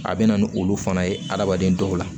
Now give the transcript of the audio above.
A bɛ na ni olu fana ye adamaden dɔw la